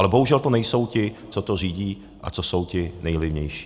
Ale bohužel to nejsou ti, co to řídí a co jsou ti nejvlivnější.